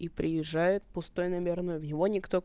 и приезжает пустой наверно в его никто